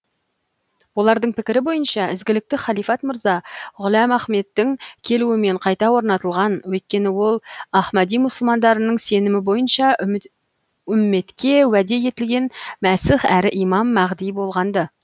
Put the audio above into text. олардың пікірі бойынша ізгілікті халифат мырза ғұләм ахмедтің келуімен қайта орнатылған өйткені ол ахмади мұсылмандарының сенімі бойынша үмметке уәде етілген мәсіх әрі имам мәғди болғанды